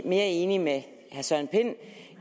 mere enig med herre søren pind